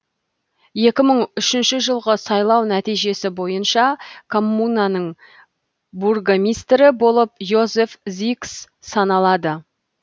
екі мың үшінші жылғы сайлау нәтижесі бойынша коммунаның бургомистрі болып йозеф зикс саналады